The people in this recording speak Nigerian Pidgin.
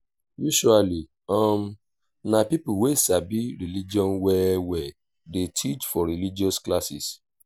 usually um na pipo wey sabi religion well well dey teach for religious classes